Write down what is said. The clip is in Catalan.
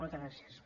moltes gràcies